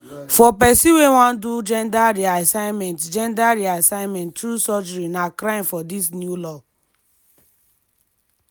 for pesin wey wan do gender reassignment gender reassignment through surgery na crime for dis new law.